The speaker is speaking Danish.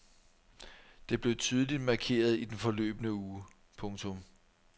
Det blev tydeligt markeret i den forløbne uge. punktum